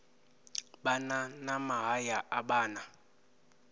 vhana na mahaya a vhana